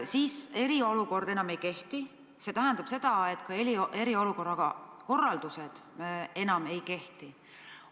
Kui eriolukord enam ei kehti, siis see tähendab seda, et ka eriolukorra korraldused enam ei kehti.